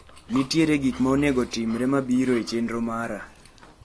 Nitiere gik ma onego otimre mabiro e chenro mara.